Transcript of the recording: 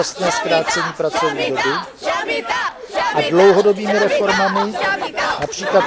dočasné zkrácení pracovní doby, a dlouhodobými reformami, např.